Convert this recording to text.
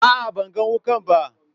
A'a, ban gan wukar ba.